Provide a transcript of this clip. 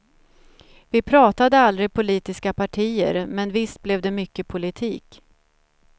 Vi pratade aldrig politiska partier, men visst blev det mycket politik.